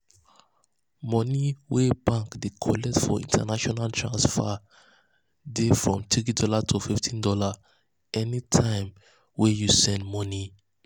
mone wey bank dey collect for international transfer transfer dey dey from $3 to fifteen dollars anytime we you send money